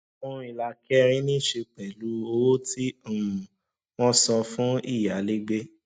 ohun èlò ìlà kẹrin ní í ṣe pẹlú owó tí um wọn san fún fún ìyálégbé